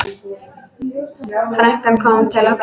Frænkan kom til okkar.